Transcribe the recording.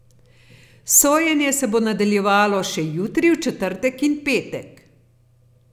Sojenje se bo nadaljevalo še jutri, v četrtek in petek.